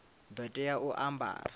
ḓo tea u a ambara